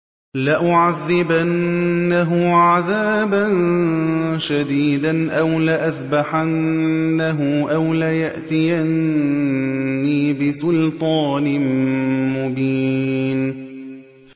لَأُعَذِّبَنَّهُ عَذَابًا شَدِيدًا أَوْ لَأَذْبَحَنَّهُ أَوْ لَيَأْتِيَنِّي بِسُلْطَانٍ مُّبِينٍ